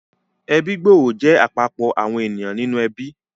Ẹbí gbòòrò jẹ́ àpapọ̀ àwọn ènìyàn nínú ẹbí